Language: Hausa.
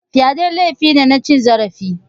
Fyade laifi ne na cin zarafi.